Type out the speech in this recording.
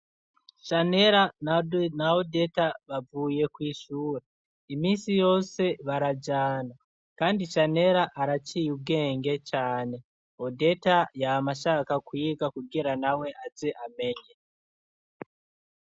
Shanera na Odeta bavuye kw'ishure. Iminsi yose barajana kandi Shanera araciye ubwenge cane, Odeta yama ashaka kwiga kugira na we aze amenye.